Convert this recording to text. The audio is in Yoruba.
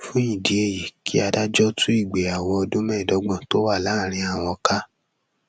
fún ìdí èyí kí adájọ tú ìgbéyàwó ọdún mẹẹẹdọgbọn tó wà láàrin àwọn ká